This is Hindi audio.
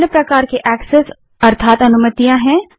निम्न प्रकार के ऐस्सेस या अनुमतियां हैं